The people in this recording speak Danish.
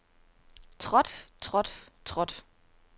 trådt trådt trådt